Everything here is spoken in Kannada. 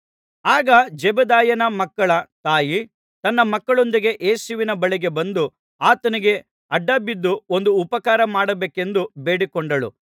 ಆಗ ಜೆಬೆದಾಯನ ಮಕ್ಕಳ ತಾಯಿ ತನ್ನ ಮಕ್ಕಳೊಂದಿಗೆ ಯೇಸುವಿನ ಬಳಿಗೆ ಬಂದು ಆತನಿಗೆ ಅಡ್ಡಬಿದ್ದು ಒಂದು ಉಪಕಾರ ಮಾಡಬೇಕೆಂದು ಬೇಡಿಕೊಂಡಳು